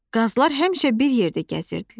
Qazlar həmişə bir yerdə gəzirdilər.